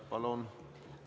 Palun!